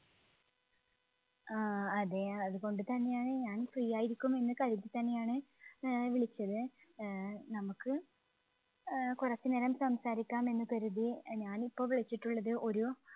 ആ. അതേ അതുകൊണ്ട് തന്നെയാണ് ഞാൻ free ആയിരിക്കും എന്ന് കരുതിത്തന്നെയാണ് ആഹ് വിളിച്ചത്. ആഹ് നമുക്ക് ആഹ് കുറച്ച് നേരം സംസാരിക്കാം എന്ന് കരുതി. അഹ് ഞാൻ ഇപ്പോൾ വിളിച്ചിട്ടുള്ളത് ഒരു